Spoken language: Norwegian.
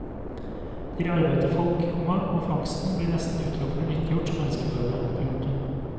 Det gir arbeid til folk, komma og fangsten blir nesten utelukkende nyttiggjort som menneskeføde. punktum